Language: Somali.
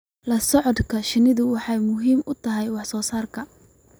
La socodka shinnidu waxay muhiim u tahay wax soo saarka.